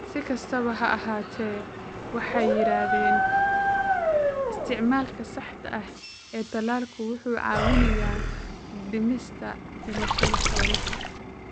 Si kastaba ha ahaatee, waxay yiraahdeen isticmaalka saxda ah ee tallaalku wuxuu caawinayaa dhimista dhimashada xoolaha.